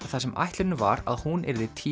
þar sem ætlunin var að hún yrði